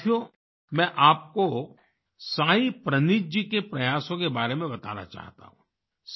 साथियो में आपको साई प्रनीथ जी के प्रयासों के बारे में बताना चाहता हूँ